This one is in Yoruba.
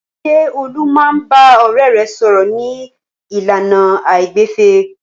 Ṣé Olú máa ń bá ọ̀rẹ́ rẹ̀ sọ̀rọ̀ ní ìlànà àìgbẹ̀fẹ̀?